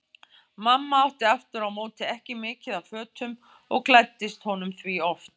Mamma átti aftur á móti ekki mikið af fötum og klæddist honum því oft.